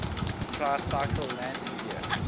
tricycle landing gear